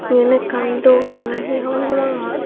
yan ekkan dogan na he hobon naw pangor.